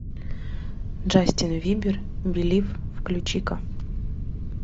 джастин бибер белив включи ка